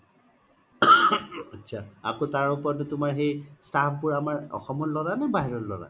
আত্চা আকৌ তাৰ ওপৰতে তুমাৰ সেই staff বোৰ আমাৰ অসমৰ ল্'ৰা নে বাহিৰৰ ল্'ৰা